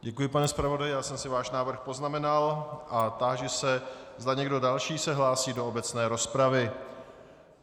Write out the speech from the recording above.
Děkuji, pane zpravodaji, já jsem si váš návrh poznamenal a táži se, zda někdo další se hlásí do obecné rozpravy.